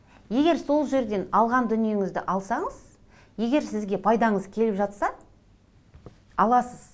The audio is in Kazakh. егер сол жерден алған дүниеңізді алсаңыз егер сізге пайдаңыз келіп жатса аласыз